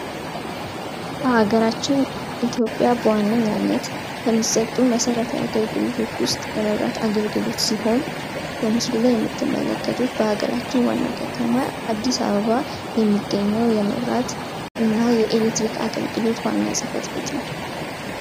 በሀገራችን ኢትዮጵያ በዋነኝነት ከሚሰጡ መሠረታዊ አገልግሎት ውስጥ የመብራት አገልግሎት ሲሆን በምስሉ የምትመለከቱት በሀገራችን ዋና ከተማ በአዲስ አበባ የሚገኘው የመብራት እና የኤሌክትሪክ አገልግሎት ዋና ጽህፈት ቤት ነው።